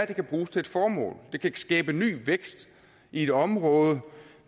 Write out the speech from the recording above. det kan bruges til et formål det kan skabe ny vækst i et område